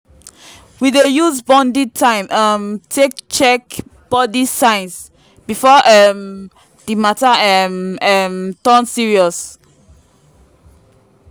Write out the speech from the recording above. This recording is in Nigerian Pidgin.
we dey use bonding time um take check body signs before um the matter um um turn serious.